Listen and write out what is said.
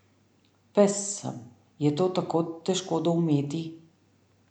Pes sem, je to tako težko doumeti?